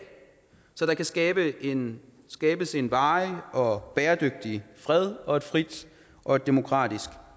så der kan skabes en skabes en varig og bæredygtig fred og et frit og et demokratisk